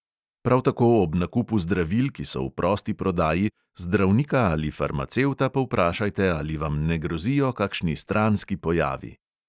Prav tako ob nakupu zdravil, ki so v prosti prodaji, zdravnika ali farmacevta povprašajte, ali vam ne grozijo kakšni stranski pojavi.